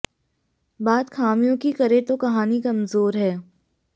बात ख़ामियों की करें तो कहानी कमज़ोर है